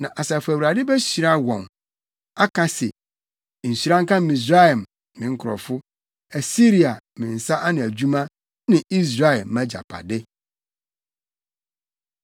Na Asafo Awurade behyira wɔn, aka se, “Nhyira nka Misraim, me nkurɔfo, Asiria me nsa ano adwuma ne Israel mʼagyapade.”